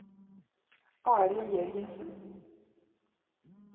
Arild Jørgensen